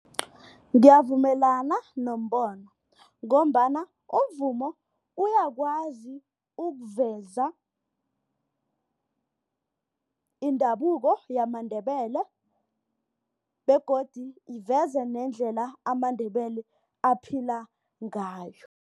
Ngiyavumelana nombono ngombana umvumo uyakwazi ukuveza indabuko yamaNdebele begodu iveze nendlela amaNdebele aphila ngayo.